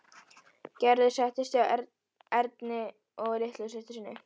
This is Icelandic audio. Gerður settist hjá Erni og litlu systur sinni.